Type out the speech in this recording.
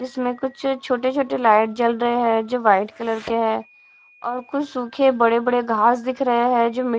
इसमें कुछ छोटे छोटे लाइट जल रहे हैं जो वाइट कलर के हैं और कुछ सूखे बड़े बड़े घास दिख रहें जो मिट--